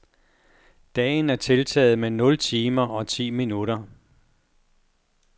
Dagen er tiltaget med nul timer og ti minutter.